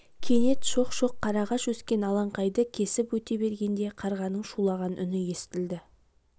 кенет шоқ-шоқ қарағаш өскен алаңқайды кесіп өте бергенде қарғаның шулаған үні естілді